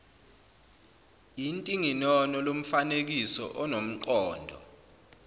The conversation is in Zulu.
intinginono lomfanekiso unomqondo